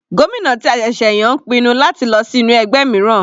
Gómìnà ti a ṣẹ̀ṣẹ̀ yàn ń pinnu láti lọ sí inú ẹgbẹ́ mìíràn.